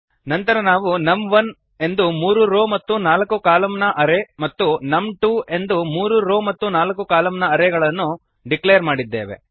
ನಂತರ ನಾವು ನಮ್1 ಎಂದು ಮೂರು ರೋ ಮತ್ತು ನಾಲ್ಕು ಕಾಲಮ್ ನ ಅರೇ ಮತ್ತು ನಮ್2 ಎಂದು ಮೂರು ರೋ ಮತ್ತು ನಾಲ್ಕು ಕಾಲಮ್ ನ ಅರೇ ಗಳನ್ನು ಡಿಕ್ಲೇರ್ ಮಾಡಿದ್ದೇವೆ